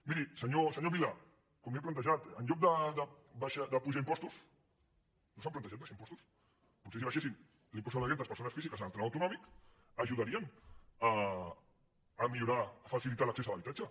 miri senyor vila com li he plantejat en lloc d’apujar impostos no s’han plantejat abaixar impostos potser si abaixessin l’impost sobre la renda de les persones físiques en el tram autonòmic ajudarien a millorar a facilitar l’accés a l’habitatge